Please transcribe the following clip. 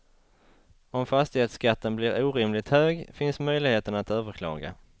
Om fastighetsskatten blir orimligt hög finns möjligheten att överklaga.